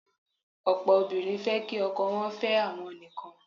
Ọ̀pọ̀ obìnrin fẹ́ kí ọkọ wọ́n fẹ́ àwọn nìkan.